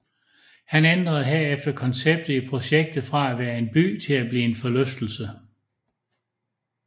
Han ændrede herefter konceptet i projektet fra at være en by til at blive en forlystelse